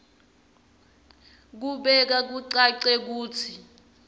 ukubeka kucace kutsi